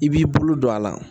I b'i bolo don a la